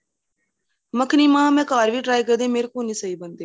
ਮੱਖਣੀ ਮਹਾਂ ਮੈਂ ਘਰ ਵੀ try ਕਰੀ ਮੇਰੇ ਕੋਲ ਨਹੀਂ ਸਹੀਂ ਬਣਦੀ